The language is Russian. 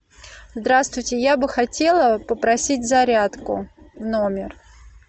здравствуйте я бы хотела попросить зарядку в номер